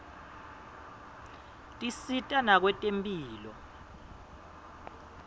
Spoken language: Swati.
tisita nakwetemphilo